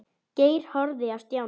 Geir horfði á Stjána.